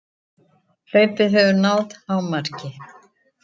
Hlaupið hefur náð hámarki